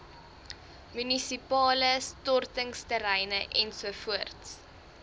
munisipale stortingsterreine ens